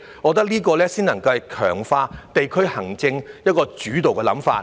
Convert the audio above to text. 我認為這個才是能夠強化地區行政的主導想法。